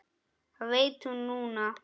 Það veit hún núna.